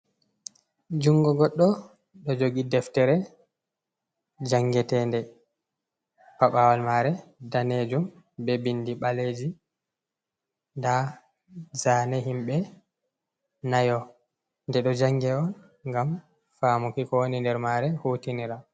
Jungo goɗɗo ɗo jogi deftere, jangetende. Paɓawal mare daneejum be bindi ɓaleeji. Nda zaane himɓe nayo nde ɗo jange on, ngam faamuki ko woni nder maare, hutinira.